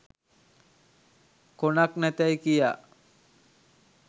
කොනක් නැතැයි කියා